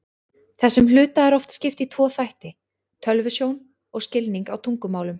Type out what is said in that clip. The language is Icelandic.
Þessum hluta er oft skipt í tvo þætti, tölvusjón og skilning á tungumálum.